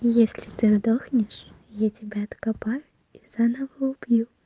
но если ты сдохнешь я тебя откопаю и заново убью